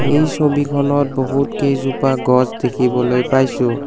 এই ছবিখনত বহুত কেইজোপা গছ দেখিবলৈ পাইছোঁ।